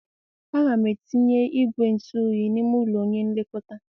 A ga m etinye igwe ntụ oyi n'ime ụlọ onye nlekọta.